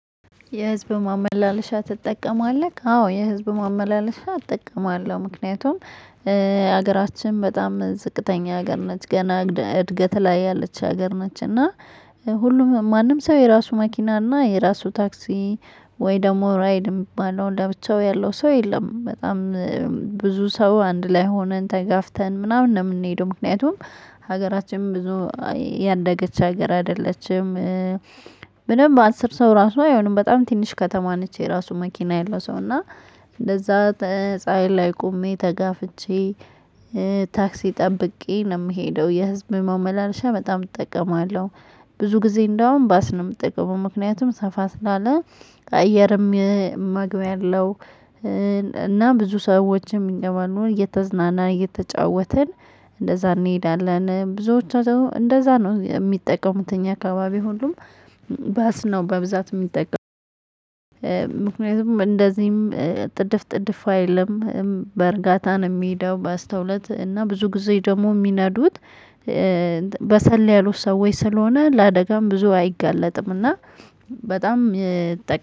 የህዝብ ማመላለሻ ትጠቀማለክ? አዎ የህዝብ ማመላለሻ እጠቀማለሁ ምክንያቱም ሀገራችን በጣም ዝቅተኛ ሀገር ነች ገና እድገት ላይ ያለች ሀገር ነች። እና ሁሉም ማንም ሰው የራሱ መኪና እና የራሱ ታክሲ ወይ ደግሞ ራይድ የሚባለው ለብቻው ያለው ሰው የለም። በጣም ብዙ ሰው አንድ ላይ ሆነን ተጋፍተን ምናምን ነው ምንሄደው ምክንያቱም ሀገራችን ብዙ ያደገች ሀገር አይደለችም። በደንብ አስር ሰው ራሱ አይሆንም በጣም ትንሽ ከተማ ነች። የራሱ መኪና ያለው ሰው እና እንደዛ ፀሀይ ላይ ቆሜ ተጋፍቼ ታክሲ ጠብቄ ነው ምሄደው የህዝብ ማመላለሻ በጣም እጠቀማለሁ። ብዙ ጊዜ እንደውም ባስ ነው ምጠቀመው ምክንያቱም ሰፋ ስላለ አየርም መግቢያ አለው። እና ብዙ ሰዎችም ይገባሉ እየተዝናና እየተጫወትን እንደዛ እንሄዳለን። ብዙዎቻቹ እንደዛ ነው የሚጠቀሙት እኛ አካባቢ ሁሉም ባስ ነው በብዛት የሚጠቀሙት። ምክንያቱም እንደዚህም ጥድፍ ጥድፍ አይልም። በእርጋታ የሚሄደው በአስተውሎት እና ብዙ ጊዜ ደግሞ የሚነዱት። በሰል ያሉ ሰዎች ስለሆነ ለአደጋም ብዙ አይጋለጥም። እና በጣም